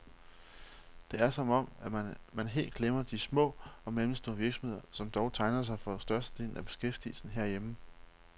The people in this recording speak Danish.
Det er som om, man helt glemmer de små og mellemstore virksomheder, som dog tegner sig for størstedelen af beskæftigelsen herhjemme.